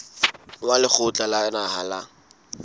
wa lekgotla la naha la